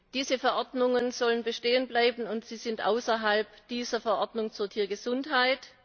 Diese Verordnungen sollen bestehen bleiben, und sie sind außerhalb dieser Verordnung zur Tiergesundheit.